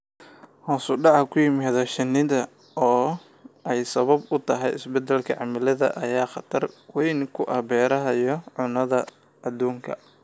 Hoos u dhaca ku yimid shinnida, oo ay sabab u tahay isbeddelka cimilada, ayaa khatar weyn ku ah beeraha iyo cunnada adduunka.